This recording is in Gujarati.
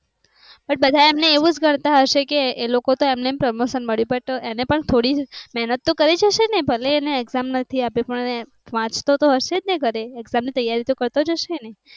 બધા એમ ને એવું જ કરતા હશે કે એ લોકો તો એમ ને પ્રમોશન મળ્યું but એમને પણ થોડી મહેનત તો કરીજ હસે ને ભલે એને એક્ષામ નથી આપી પણ એ વાંચતો તો હશે ને ઘરે એક્ષામ ની તૈયારી તો કારતોજ હસે ને